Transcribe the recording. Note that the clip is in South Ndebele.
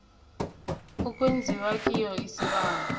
okwenziwa kiyo isibawo